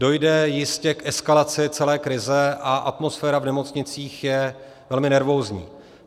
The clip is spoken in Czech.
Dojde jistě k eskalaci celé krize, a atmosféra v nemocnicích je velmi nervózní.